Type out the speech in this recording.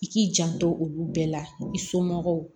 I k'i janto olu bɛɛ la i somɔgɔw